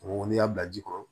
Mɔgɔ n'i y'a bila ji kɔrɔ